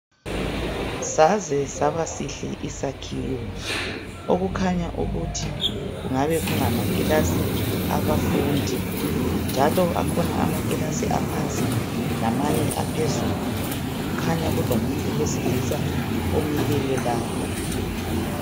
Saze saba sihle isakhiwo okukhanya ukuthi kungabe kungamakilasi aba fundi njalo kukhona amakiilasi aphansi lamanye aphezulu kukhanya kulomuntu wesilisa omileyo lapho